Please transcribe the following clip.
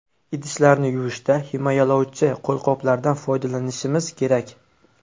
Idishlarni yuvishda himoyalovchi qo‘lqoplardan foydalanishimiz kerak.